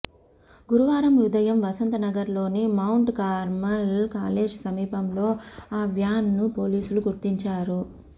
గురువారం ఉదయం వసంతనగర్ లోని మౌంట్ కార్మల్ కాలేజ్ సమీపంలో ఆ వ్యాన్ ను పోలీసులు గుర్తించారు